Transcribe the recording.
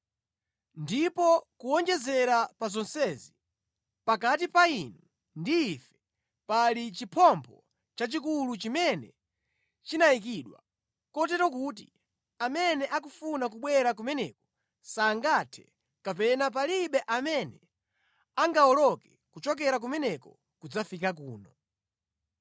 Ndipo kuwonjezera pa zonsezi, pakati pa inu ndi ife pali chiphompho chachikulu chimene chinayikidwa, kotero kuti amene akufuna kubwera kumeneko sangathe, kapena palibe amene angawoloke kuchokera kumeneko kudzafika kuno.’